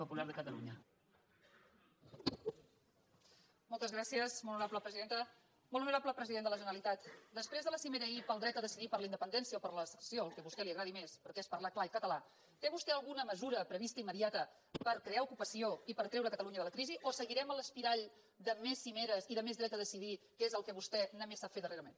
molt honorable president de la generalitat després de la cimera ahir pel dret a decidir per la independència o per la secessió el que a vostè li agradi més perquè és parlar clar i català té vostè alguna mesura prevista immediata per crear ocupació i per treure catalunya de la crisi o seguirem en l’espiral de més cimeres i de més dret a decidir que és el que vostè només sap fer darrerament